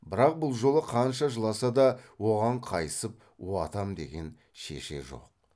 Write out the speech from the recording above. бірақ бұл жолы қанша жыласа да оған қайысып уатам деген шеше жоқ